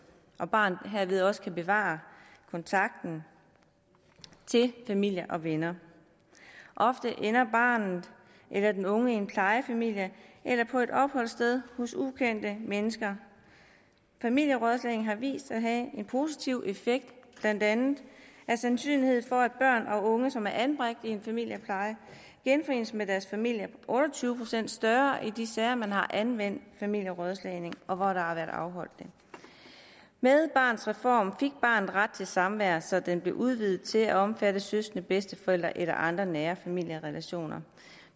og barnet herved også kan bevare kontakten til familie og venner ofte ender barnet eller den unge i en plejefamilie eller på et opholdssted hos ukendte mennesker familierådslagning har vist sig at have en positiv effekt blandt andet er sandsynligheden for at børn og unge som er anbragt i en familiepleje genforenes med deres familie otte og tyve procent større i de sager hvor man har anvendt familierådslagning og hvor der har været afholdt det med barnets reform fik barnet ret til samvær så det blev udvidet til at omfatte søskende bedsteforældre eller andre nære familierelationer